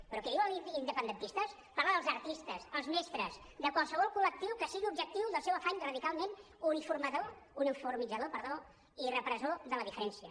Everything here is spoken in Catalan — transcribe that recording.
però qui diu independentistes parla dels artistes els mestres de qualsevol col·lectiu que sigui objectiu del seu afany radicalment uniformitzador i repressor de la diferència